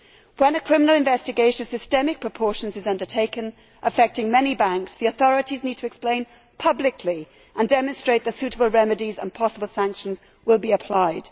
When a criminal investigation of systemic proportions is undertaken affecting many banks, the authorities need to explain publicly and demonstrate that suitable remedies and possible sanctions will be applied.